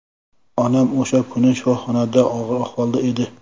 Onam o‘sha kuni shifoxonada og‘ir ahvolda edi.